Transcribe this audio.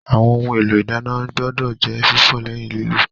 Àwọn ohun èlò ìdáná gbọ́dọ̀ jẹ́ fífọ̀ lẹ́yìn lílò